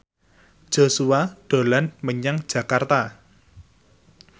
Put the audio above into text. Joshua dolan menyang Jakarta